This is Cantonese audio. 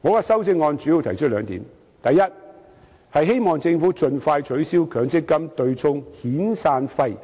我的修正案主要提出兩點：第一，希望政府盡快取消強積金對沖遣散費